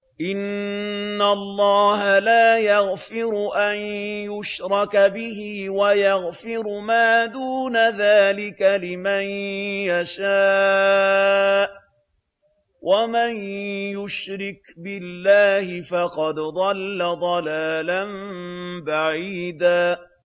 إِنَّ اللَّهَ لَا يَغْفِرُ أَن يُشْرَكَ بِهِ وَيَغْفِرُ مَا دُونَ ذَٰلِكَ لِمَن يَشَاءُ ۚ وَمَن يُشْرِكْ بِاللَّهِ فَقَدْ ضَلَّ ضَلَالًا بَعِيدًا